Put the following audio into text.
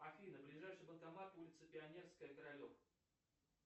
афина ближайший банкомат улица пионерская королев